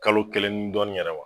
Kalo kelen ni dɔɔnin yɛrɛ wa